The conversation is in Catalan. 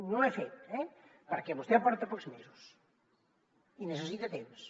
no ho he fet eh perquè vostè porta pocs mesos i necessita temps